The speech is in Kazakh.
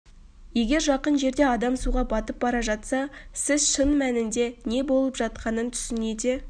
егер жақын жерде адам суға батып бара жатса сіз шын мәнінде не болып жатқанын түсіне де